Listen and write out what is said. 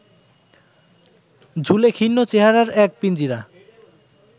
ঝুলে খিন্ন চেহারার এক পিঞ্জিরা